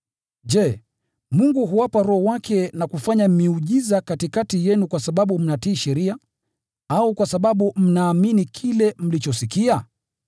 Je, Mungu huwapa Roho wake na kufanya miujiza katikati yenu kwa sababu mnatii sheria, au kwa sababu mnaamini kile mlichosikia?